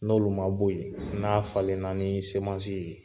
N'olu man bɔ ye n'a falen na ni semansi ye.